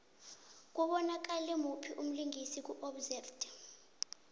kubonakala muphi umlingisi ku obsessed